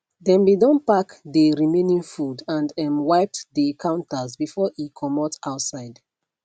dem be don pack dey remaining food and um wiped dey counters before e comot outside